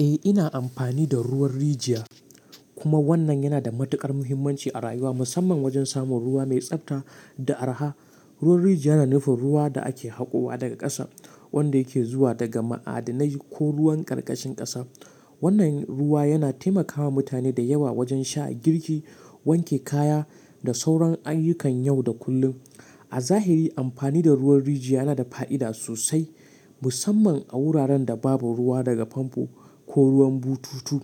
Eh, ina amfani da ruwan rijiya, kuma wannan yana da matuƙar muhimmanci a rayuwa, musamman wajen samun ruwa mai tsabta da araha. Ruwan rijiya yana nufin ruwan da ake haƙowa daga ƙasa, wanda yake zuwa daga ma'adinai ko ruwan karkashin ƙasa. Wannan ruwa yana taimakawa mutane da yawa wajen sha, girki, wanke kaya da sauran ayyukan yau da kullum. A zahiri amfani da ruwan rijiya yana da fa'ida sosai, musamman a wuraren da babu ruwa daga famfo ko ruwan bututu.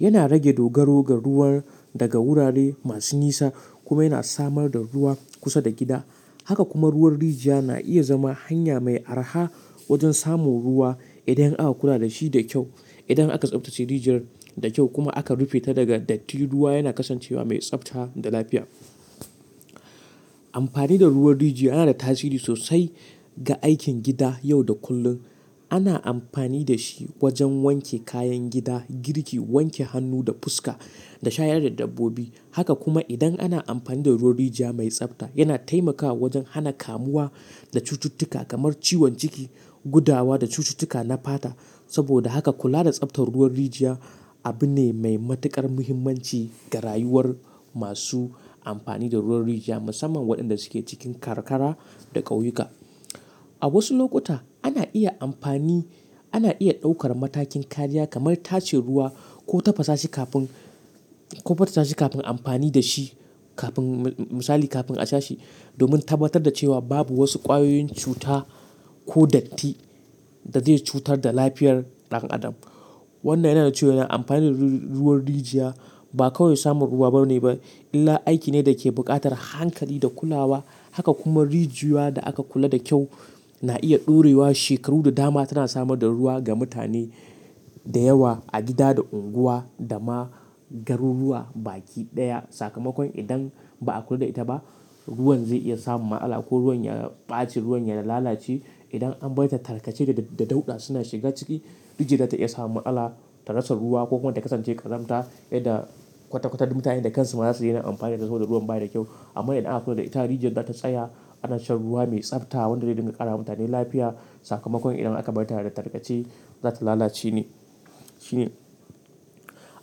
Yana rage dogaro ga ruwan daga wurare masu nisa kuma yana samar da ruwa kusa da gida. Haka kuma ruwan rijiya na iya zama hanya mai araha wajen samun ruwa idan aka kula da shi da kyau. Idan aka tsabtace rijiyar da kyau kuma aka rufe ta daga datti, ruwa yana kasancewa mai tsabta da lafiya. Amfani da ruwan rijiya yana da tasiri sosai ga aikin gida yau da kullum. Ana amfani da shi wajen wanke kayan gida, girki, wanke hannu da fuska da shayar da dabbobi. Haka kuma idan ana amfani da ruwan rijiya mai tsabta, yana taimakawa wajen hana kamuwa da cututtuka kamar ciwon ciki, gudawa da cututtuka na fata. Saboda haka kula da tsabtar ruwan rijiya abu ne mai matuƙar muhimmanci ga rayuwar masu amfani da ruwan rijiya, musamman waɗanda suke cikin karkara da ƙauyuka. A wasu lokuta ana iya amfani, ana iya ɗaukar matakin kariya kamar tace ruwa ko tafasa shi kafin, ko fatata shi kafin amfani da shi kafin, misali kafin a sha shi, domin tabbatar da cewa babu wasu ƙwayoyin cuta ko datti da zai cutar da lafiyar ɗan adam. Wannan yana cewa amfani da ru-ruwan rijiya ba kawai samun ruwa bane ba, illa aiki ne da ke buƙatar hankali da kulawa. Haka kuma rijiya da aka kula da kyau na iya ɗurewa shekaru da dama, tana samar da ruwa ga mutane da yawa a gida da unguwa da ma garuruwa baki ɗaya. Sakamakon idan ba a kula da ita ba, ruwan zai iya samun ma'ala ko ruwan ya ɓace, ruwan ya lalace. Idan an bar ita tarkace da, da, da dauɗa suna shiga ciki, rijiya ta iya samun ma'tsala ta rasa ruwa ko kuma ta kasance ƙazamta, yanda kwata-kwata mutanen da kansu ma za su daina amfani da ita saboda ruwan ba yi da kyau. Amma idan aka kula da ita, rijiya za ta tsaya ana shan ruwa mai tsabta wanda zai dinga ƙara ma mutane lafiya. Sakamakon idan aka barta da tarkace, za ta lalace ne, shi ne.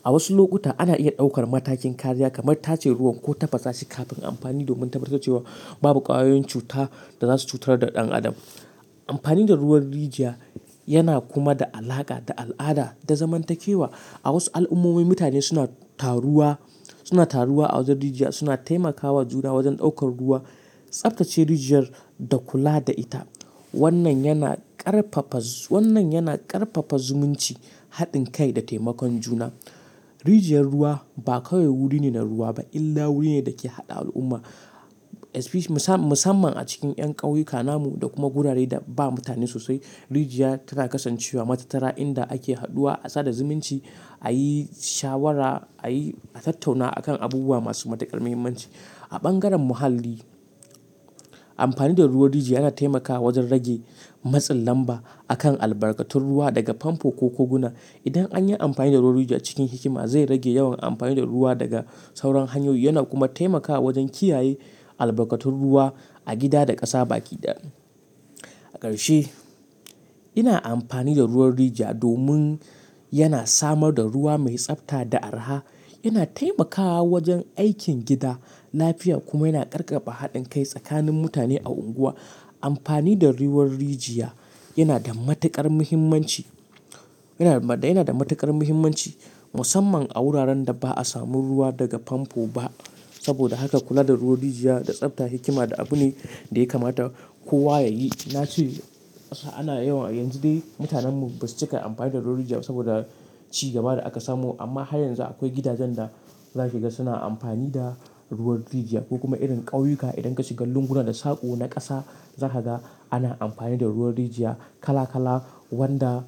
A wasu lokuta ana iya ɗaukar matakin kariya kamar tace ruwan ko tafasa shi kafin amfani domin tabbatar da cewa babu ƙwayoyin cuta da za su cutar da ɗan adam. Amfani da ruwan rijiya yana kuma da alaka da al'ada da zamantakewa. A wasu al'ummomi, mutane suna taruwa, suna taruwa a wajen rijiya, suna taimakawa juna wajen ɗaukar ruwa, tsabtace rijiyar da kula da ita. Wannan yana ƙarfafa zoo. Wannan yana ƙarfafa zumunci, haɗin kai da taimakon juna. Rijiyar ruwa ba kawai wuri ne na ruwa ba, illa wuri ne da ke haɗa al'umma. Especi, musan musamman a cikin 'yan ƙauyuka, namu da kuma gurare da ba mutane sosai, rijiya tana kasancewa matatara inda ake haduwa, a sada zumunci, a yi shawara, a yi, a tattauna a kan abubuwa masu matuƙar muhimmanci. A bangaren muhalli, amfani da ruwan rijiya yana taimakawa wajen rage matsin lamba a kan albarkatun ruwa daga famfo ko koguna. Idan an yi amfani da ruwan rijiya cikin hikima, zai rage yawan amfani da ruwa daga sauran hanyoyi, yana kuma taimakawa wajen kiyaye albarkatun ruwa a gida da ƙasa baki daya. A ƙarshe, ina amfani da ruwan rijiya domin yana samar da ruwa mai tsabta da araha, yana taimakawa wajen aikin gida, lafiya kuma yana ƙarkafa haɗin kai tsakanin mutane a unguwa. Ampani da ruwan rijiya yana da matuƙar muhimmanci, yana da, yana da matuƙar muhimmanci musamman a wuraren da ba a samu ruwa daga pampo ba. Saboda haka kula da ruwan rijiya da tsabta hikima da abu ne da ya kamata kowa ya yi. Na ce, ana yawan yanzu dai mutanenmu ba su cika amfani da ruwan rijiya saboda ci gaba da aka samu. Amma har yanzu akwai gidajen da za ka ga suna amfani da ruwan rijiya. Ko kuma irin ƙauyuka idan ka shiga lunguna da sako na ƙasa, za ka ga ana amfani da ruwan rijiya kala kala wanda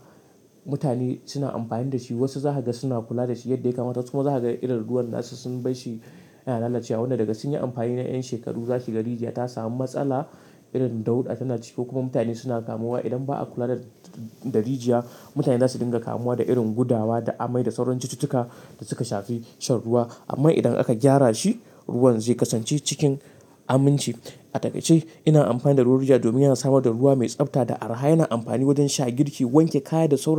mutane suna amfani da shi. Wasu za ka ga suna kula da shi yadda ya kamata kuma za ka ga irin ruwan gashi sun bar shi yana lalacewa. Wannan daga sun yi amfani na 'yan shekaru, za ka ga rijiya ta samu matsala irin dauɗa tana ciki kokuma mutane suna kamuwa. Idan ba a kula da, da rijiya, mutane za su dinga kamuwa da irin gudawa da amai da sauran cututtuka da suka shafi shan ruwa. Amma idan aka gyara shi, ruwan zai kasance cikin aminci. A takaice, ina amfani da ruwan rijiya domin yana samar da ruwa mai tsabta da araha, yana amfani wajen sha, girki, wanke kaya da sauran.